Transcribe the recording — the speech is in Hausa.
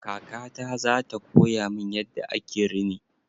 Kaka ta zata koya min yadda ake rini.